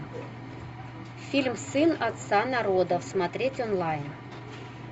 фильм сын отца народов смотреть онлайн